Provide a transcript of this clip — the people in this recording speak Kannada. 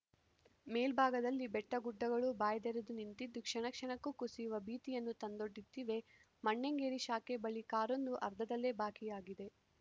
ಮೇಲ್ಭಾಗದಲ್ಲಿ ಬೆಟ್ಟಗುಡ್ಡಗಳೂ ಬಾಯ್ದೆರೆದು ನಿಂತಿದ್ದು ಕ್ಷಣಕ್ಷಣಕ್ಕೂ ಕುಸಿಯುವ ಭೀತಿಯನ್ನು ತಂದೊಡ್ಡುತ್ತಿವೆ ಮಣ್ಣೆಂಗೇರಿ ಶಾಲೆ ಬಳಿ ಕಾರೊಂದು ಅರ್ಧದಲ್ಲೇ ಬಾಕಿಯಾಗಿದೆ